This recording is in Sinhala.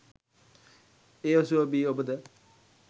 එ ඔසුව බී ඔබ ද